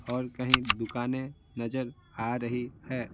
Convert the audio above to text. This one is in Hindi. और कहीं दुकानें नजर आ रही है।